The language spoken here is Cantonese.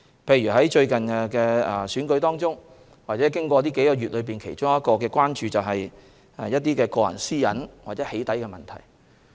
例如在最近的選舉中或這數個月，其中一項關注是個人私隱或"起底"問題。